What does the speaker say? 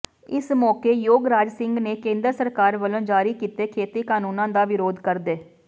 ਇਸ ਮੌਕੇ ਯੋਗਰਾਜ ਸਿੰਘ ਨੇ ਕੇਂਦਰ ਸਰਕਾਰ ਵੱਲੋਂ ਜਾਰੀ ਕੀਤੇ ਖੇਤੀ ਕਾਨੂੰਨਾਂ ਦਾ ਵਿਰੋਧ ਕਰਦੇ